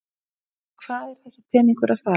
En í hvað er þessi peningur að fara?